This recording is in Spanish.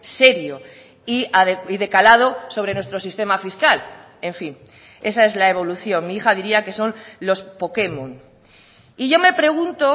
serio y de calado sobre nuestro sistema fiscal en fin esa es la evolución mi hija diría que son los pokemon y yo me pregunto